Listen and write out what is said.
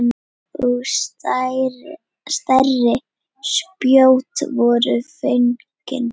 Og stærri spjót voru fengin.